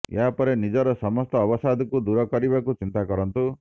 ଏହାପରେ ନିଜର ସମସ୍ତ ଅବସାଦକୁ ଦୂର କରିବାକୁ ଚିନ୍ତା କରନ୍ତୁ